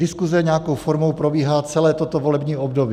Diskuze nějakou formou probíhá celé toto volební období.